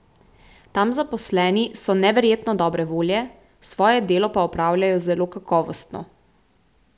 Tam zaposleni so neverjetno dobre volje, svoje delo pa opravljajo zelo kakovostno.